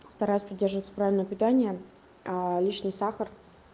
стараюсь придерживаться правильное питание лишний сахар